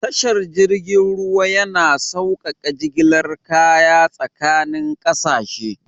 Tashar jirgin ruwa yana saukaka jigilar kaya tsakanin kasashe.